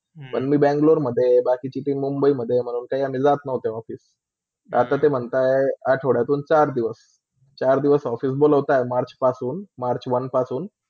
पर मी Bangalore मधे बाकी तिथे मुंबईमधे म्हणून काय आम्ही जात नव्हता office. आता ते म्हण्तात आठवडातून चार दिवस, चार दिवस office बोलोतात मार्चपासून march one पासून.